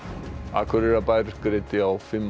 Akureyrarbær greiddi á fimm